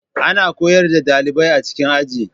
Ana koyar da dalibai a cikin Aji